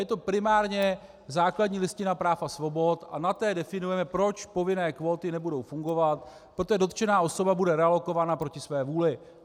Je to primárně základní listina práv a svobod a na té definujeme, proč povinné kvóty nebudou fungovat, protože dotčená osoba bude realokována proti své vůli.